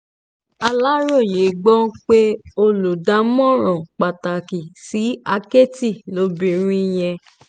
aláròye gbọ́ pé olùdámọ̀ràn pàtàkì sí àkẹ́tì ni obìnrin yìí